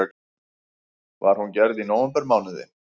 Var hún gerð í nóvembermánuði